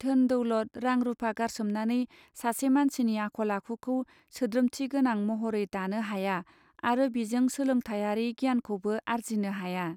धोन दौलत रां रूपा गारसोमनानै सासे मानसिनि आखल आखुखौ सोद्रोमथि गोनां महरै दानो हाया आरो बिजों सोलोंथायारी गियानखौबो आर्जिनो हाया.